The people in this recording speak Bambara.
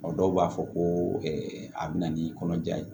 Dɔw b'a fɔ ko a bɛ na ni kɔnɔja ye